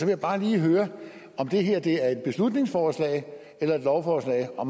jeg bare lige høre om det her er et beslutningsforslag eller et lovforslag og